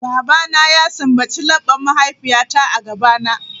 Babana ya sumbaci laɓɓan mahaifiyata a gabana.